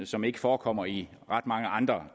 som ikke forekommer i ret mange andre